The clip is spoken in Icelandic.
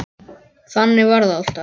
Þannig var það alltaf.